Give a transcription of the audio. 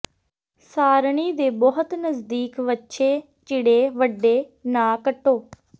ਸਾਰਣੀ ਦੇ ਬਹੁਤ ਨਜ਼ਦੀਕ ਵੱਛੇ ਚਿੜੇ ਵੱਢੇ ਨਾ ਕੱਟੋ